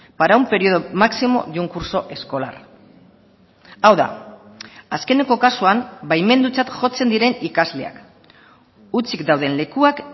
para un periodo máximo de un curso escolar hau da azkeneko kasuan baimendutzat jotzen diren ikasleak hutsik dauden lekuak